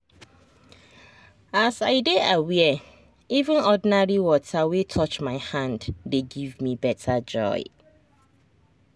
as i dey aware even ordinary water wey touch my hand dey give me better joy.